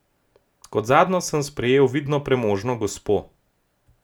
Kot zadnjo sem sprejel vidno premožno gospo.